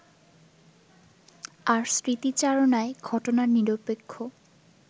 আর স্মৃতিচারণায় ঘটনার নিরপেক্ষ